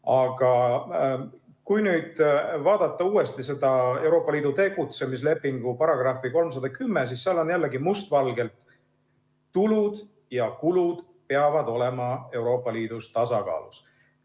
Aga kui nüüd vaadata uuesti seda Euroopa Liidu toimimise lepingu artiklit 310, siis seal on jällegi must valgel öeldud, et tulud ja kulud peavad olema Euroopa Liidus tasakaalus.